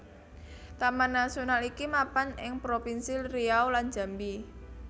Taman Nasional iki mapan ing propinsi Riau lan Jambi